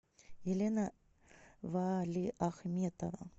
елена валиахметова